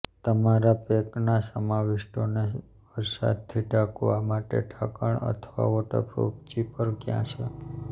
તમારા પૅકના સમાવિષ્ટોને વરસાદથી ઢાંકવા માટે ઢાંકણ અથવા વોટરપ્રૂફ ઝીપર ક્યાં છે